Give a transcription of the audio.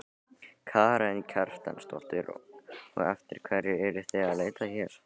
Karen Kjartansdóttir: Og eftir hverju eruð þið að leita hér?